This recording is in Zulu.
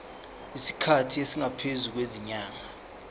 isikhathi esingaphezulu kwezinyanga